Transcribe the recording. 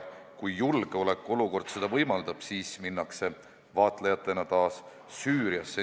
Kui julgeolekuolukord seda võimaldab, siis minnakse vaatlejatena taas Süüriasse.